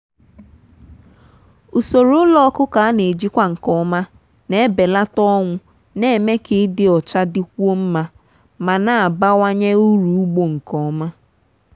usoro ụlọ ọkụkọ a na-ejikwa nke ọma na-ebelata ọnwụ na-eme ka ịdị ọcha dịkwuo mma ma na-abawanye uru ugbo nke ọma.